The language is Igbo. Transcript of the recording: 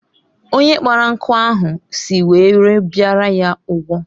Onye kpara nkụ ahụhụ si ngwere bịara ya ụgwọ